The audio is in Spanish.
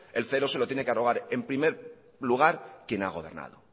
el cero se lo tiene que arrogar en primer lugar quien ha gobernado